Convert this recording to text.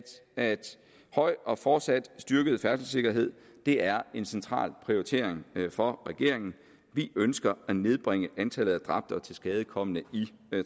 at høj og fortsat styrket færdselssikkerhed er en central prioritering for regeringen vi ønsker at nedbringe antallet af dræbte og tilskadekomne i